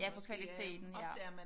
Ja på kvaliteten ja